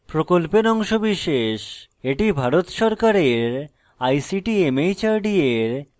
এটি ভারত সরকারের ict mhrd এর জাতীয় শিক্ষা mission দ্বারা সমর্থিত